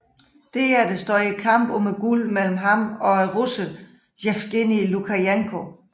Derpå stod kampen om guldet mellem ham og russeren Jevgenij Lukjanenko